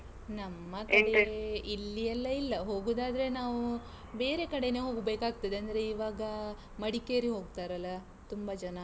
ನಮ್ಮ ಕಡೇ ಇಲ್ಲಿಯೆಲ್ಲಾ ಇಲ್ಲಾ. ಹೋಗೂದಾದ್ರೆ ನಾವು ಬೇರೆ ಕಡೆನೇ ಹೋಗ್ಬೇಕಾಗ್ತದೆ, ಅಂದ್ರೆ ಇವಾಗ ಮಡಿಕೇರಿ ಹೋಗ್ತಾರಲ್ಲಾ ತುಂಬಾ ಜನ.